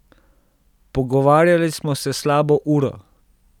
Pogovarjale smo se slabo uro.